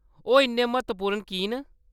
ओह्‌‌ इन्ने म्हत्तवपूर्ण की न ?